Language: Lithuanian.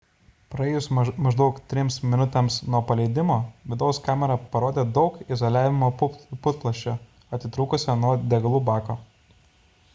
praėjus maždaug 3 minutėms nuo paleidimo vidaus kamera parodė daug izoliavimo putplasčio atitrūkusio nuo degalų bako